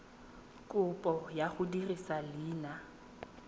kopo ya go dirisa leina